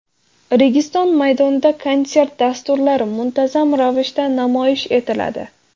Registon maydonida konsert dasturlari muntazam ravishda namoyish etiladi.